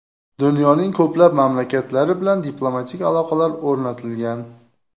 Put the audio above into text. Dunyoning ko‘plab mamlakatlari bilan diplomatik aloqalar o‘rnatilgan.